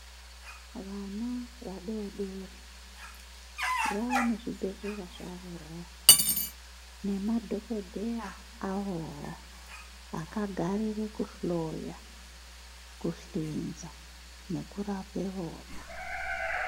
Vana vadori dori vanezvibhedhlera zvavowo nemadhokodheya avowo, akagarire kuhloya, kuhlinza nekurape vona.